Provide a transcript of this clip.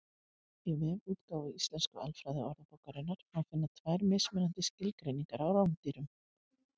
Í vefútgáfu Íslensku alfræðiorðabókarinnar má finna tvær mismunandi skilgreiningar á rándýrum.